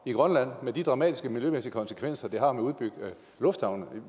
i grønland med de dramatisk miljømæssige konsekvenser det har at udbygge lufthavne